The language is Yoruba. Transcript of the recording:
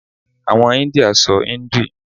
Àwọn India sọ hindi.